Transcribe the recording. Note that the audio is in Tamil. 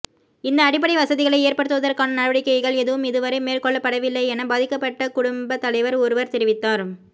இந்த அடிப்படை வசதிகளை ஏற்படுத்துவதற்கான நடவடிக்கைகள் எதுவும் இதுவரை மேற்கொள்ளப்படவில்லை என பாதிக்கப்பட்ட குடும்பத் தலைவர் ஒருவர் தெரிவித்தார்